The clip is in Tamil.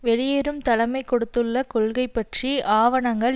வெளியேறும் தலைமை கொடுத்துள்ள கொள்கை பற்றி ஆவணங்கள்